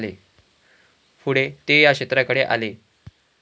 पुढे ते या क्षेत्राकडे आले.